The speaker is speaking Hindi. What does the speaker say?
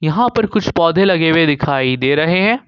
यहां पर कुछ पौधे लगे हुए दिखाई दे रहे हैं।